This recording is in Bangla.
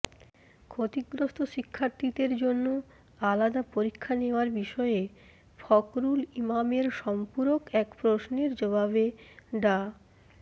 ক্ষতিগ্রস্ত শিক্ষার্থীদের জন্য আলাদা পরীক্ষা নেওয়ার বিষয়ে ফখরুল ইমামের সম্পূরক এক প্রশ্নের জবাবে ডা